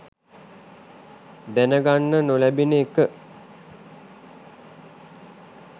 දැන ගන්න නොලැබෙන එක.